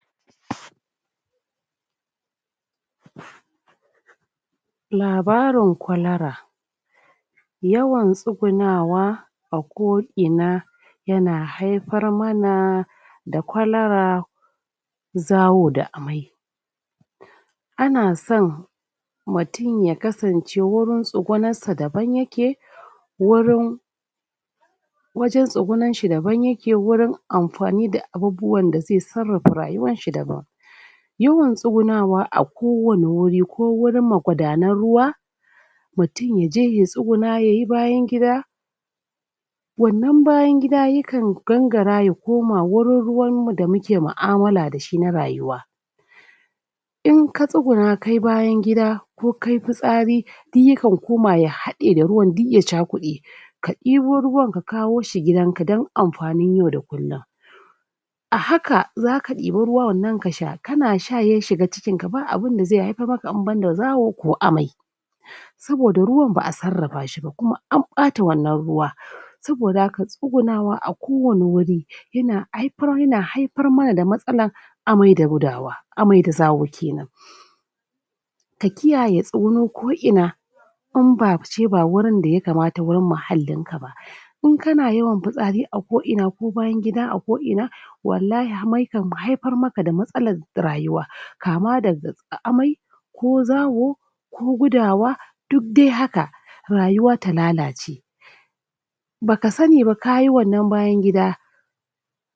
? labarin kwalara yawan tsugunawa a koina yana haipar mana da kwalara zawo da amai ana son mutun ya kasance wurin tsugunassa daban yake wurin wajen tsugunanshi daban yake wurin amfani da abubuwan da ze sarrapa rayuwanshi daban yawan tsugunawa a kowani wuri ko wurin magudanan ruwa mutun yaje ya tsuguna yayi bayan gida wannan bayan gida ya kan gangara ya koma wurin ruwan mu da muke ma'amala dashi na rayuwa in ka tsuguna kayi bayan gida ko kayi pitsari duk ya kan koma ya haɗe da ruwan duk ya cakuɗe ka ɗibo ruwan ka kawo shi gidanka don amfanin yau da kullun a haka zaka ɗiba ruwan nan ka sha kana sha ya shiga cikin ka ba abunda zai haipar maka in banda zawo ko amai saboda ruwan ba'a sarrapa shi ba kuma an ɓata wannan ruwa saboda haka tsugunawa a kowani wuri yana aipar yana haipar mana da matsalan amai da gudawa amai da zawo kenan ka kiyaye tsugunun koina in ba ce ba wurin da yakamata wurin mahallin ka ba in kana yawan pitsari a koina ko bayan gida a koina wallahi hamai kan haipar maka da matsalan rayuwa kama daga amai ko zawo ko gudawa duk de haka rayuwa ta lalace baka sani ba kayi wannan bayan gida